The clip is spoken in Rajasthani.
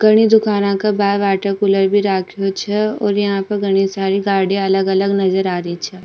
घनी दुकाना के बारे वाटर कूलर भी राख्यो छे और यहाँ पर घनी सारी गाड़िया अलग अलग नजर आ रही छे।